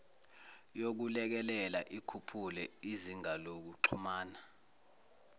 yokulekelela ikhuphule izingalokuxhumana